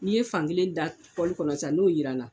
N'i ye fankelen da kɔnɔ sisan n'o jiranna